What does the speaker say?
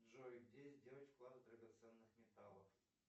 джой где сделать вклад драгоценных металлов